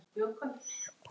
Hún er komin